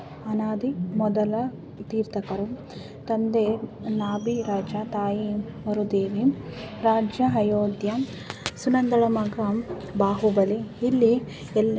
ಅನಾದಿ ಮೊದಲ ತೀರ್ಥಂಕರು ತಂದೆ ನಾಭಿ ರಾಜ ತಾಯಿ ವರುದೇವಿ. ರಾಜ್ಯ ಅಯೋಧ್ಯ ಸುನಂದಳ ಮಗ ಬಾಹುಬಲಿ. ಇಲ್ಲಿ ಎಲ್ಲಾ--